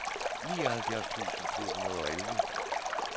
nioghalvfjerds tusind to hundrede og elleve